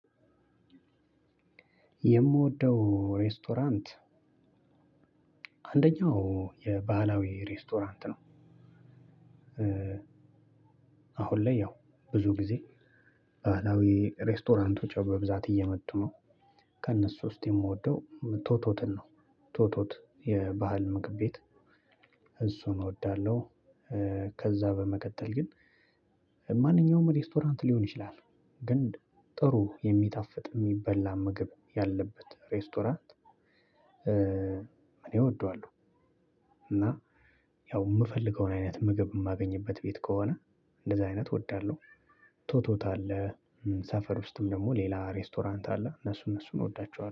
የምወደው ሬስቶራንት አንደኛው የባህላዊ ሬስቶራንት ነው። አሁን ላይ ያው ብዙ ጊዜ ባህላዊ ሬስቶራንቶች ያው በብዛት እየመጡ ነው። ከነሱ ውስጥ የምወደው ቶቶትን ነው። ቶቶት የባህል ምግብ ቤት። እሱን እወዳለሁ። ከዛ በመቀጠል ግን ማንኛውም ሬስቶራንት ሊሆን ይችላል። ግን ጥሩ የሚጣፍጥ ምግብ ያለበት ሬስቶራንት። እኔ ወደዋለሁ። እና ያው የምፈልገው አይነት ምግብ ማገኝበት ቤት ከሆነ እንደዛ አይነት ወዳለሁ። ቶቶት አለ ሰፈር ውስጥም ደግሞ ሌላ ሬስቶራንት አለ እነሱን እሱን እወዳቸዋለሁ